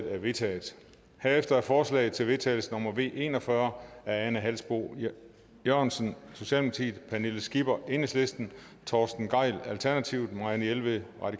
er vedtaget herefter er forslag til vedtagelse nummer v en og fyrre af ane halsboe jørgensen pernille skipper torsten gejl marianne jelved og